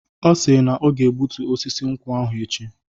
Ọ si na ọ ga-egbutu osisi nkwụ ahụ echi.